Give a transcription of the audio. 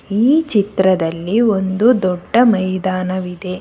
ಈ ಚಿತ್ರದಲ್ಲಿ ಒಂದು ದೊಡ್ಡ ಮೈದಾನವಿದೆ.